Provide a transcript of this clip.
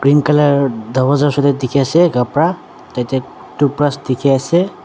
green color doorwaaza shuti diki ase kabra tate toothbrush diki ase.